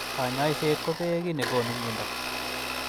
Kanyoiset kobee ki nekonu mnyendo.